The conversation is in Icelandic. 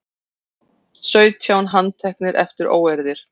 Sautján handteknir eftir óeirðir